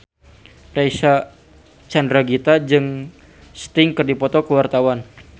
Reysa Chandragitta jeung Sting keur dipoto ku wartawan